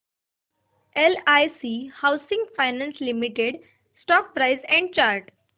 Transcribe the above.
LIC housing finance limited stock price and chart